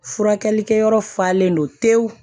Furakɛlikɛyɔrɔ falen don tewu